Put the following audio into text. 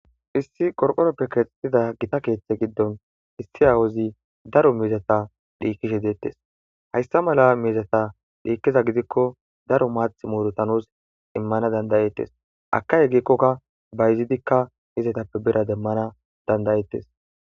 issi qorqoroppe keexexida gitta keeththa giddon issi awozi daro miizata dhiikishshe dettees hayssa malla miizatta dhiikkiza gidikko daro maaththi murutta nus immana danda'ettees akayoo gikokka bayzidikka izatappe biira demmana dandayettees